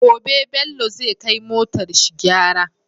Gobe bello zai kai motar shi gyara